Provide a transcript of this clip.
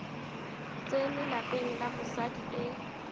tsene lapeng la mosadi e